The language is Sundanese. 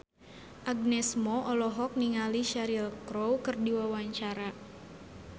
Agnes Mo olohok ningali Cheryl Crow keur diwawancara